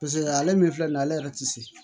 Paseke ale min filɛ nin ye ale yɛrɛ ti se